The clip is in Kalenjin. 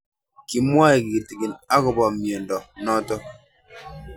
Kimwae kitig'in akopo miondo notok